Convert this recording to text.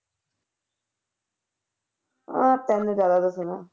ਜ਼ਿਆਦਾ ਦੱਸਣਾ